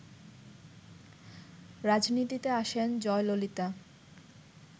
রাজনীতিতে আসেন জয়ললিতা